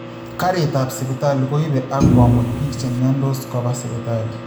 Karit ap Sipitali koipe ak komut biik che myontos kopa sipitali